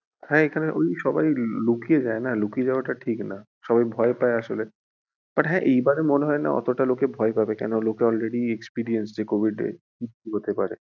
হ্যাঁ এখানে ওই সবাই ওই লুকিয়ে যায়না, লুকিয়ে যাওয়া টা ঠিক না সবাই ভয় পায় আসলে but হ্যাঁ এইবারে মনে হয়না অতোটা লোকে ভয় পাবে কেনোকি লোকে already experience যে covid এ কী কী হতে পারে।